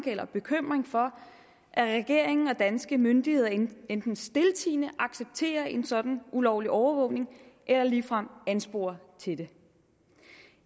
eller bekymring for at regeringen og danske myndigheder enten enten stiltiende accepterer en sådan ulovlig overvågning eller ligefrem ansporer til det